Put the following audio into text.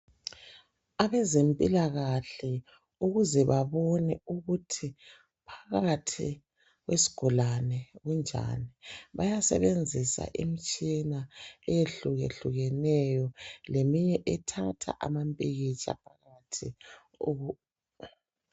Abeze mpilakahle ukuze babone ukuthi phakathi kwesigulani kunjani bayasebenzisa imitshina eyehlukehlukeneyo leminye ethatha amapikitsha.